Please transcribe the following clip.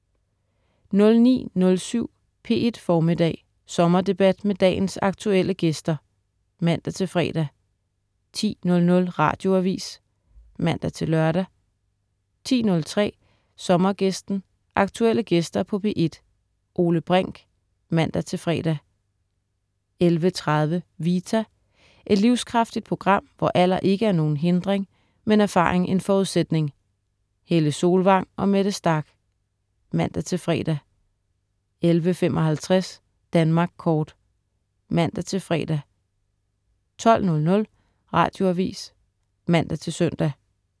09.07 P1 Formiddag, Sommerdebat med dagens aktuelle gæster (man-fre) 10.00 Radioavis (man-lør) 10.03 Sommergæsten, aktuelle gæster på P1. Ole Brink (man-fre) 11.30 Vita. Et livskraftigt program, hvor alder ikke er nogen hindring, men erfaring en forudsætning. Helle Solvang og Mette Starch (man-fre) 11.55 Danmark kort (man-fre) 12.00 Radioavis (man-søn)